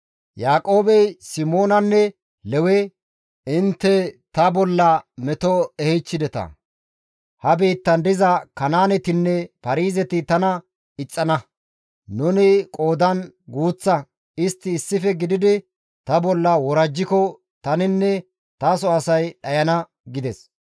Yaaqoobey Simoonanne Lewe, «Intte ta bolla meto ehichchideta; ha biittan diza Kanaanetinne Paarizeti tana ixxana; nuni qoodan guuththa; istti issife gididi ta bolla worajjiko taninne taso asay dhayana» gides.